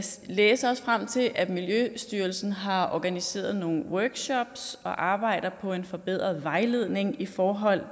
læse os frem til at miljøstyrelsen har organiseret nogle workshops og arbejder på en forbedret vejledning i forhold